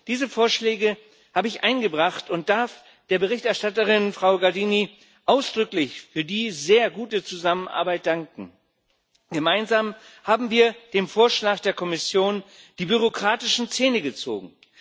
Diese Vorschläge habe ich eingebracht und darf der Berichterstatterin, Frau Gardini, ausdrücklich für die sehr gute Zusammenarbeit danken. Gemeinsam haben wir dem Vorschlag der Kommission die bürokratischen Zähne gezogen.